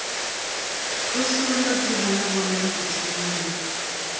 tsošološatsebo ya bonayago thunya le